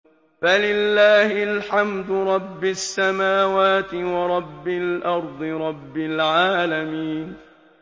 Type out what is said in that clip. فَلِلَّهِ الْحَمْدُ رَبِّ السَّمَاوَاتِ وَرَبِّ الْأَرْضِ رَبِّ الْعَالَمِينَ